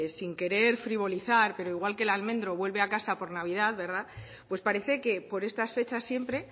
sin querer frivolizar pero igual que el almendro vuelve a casa por navidad pues parece que por estas fechas siempre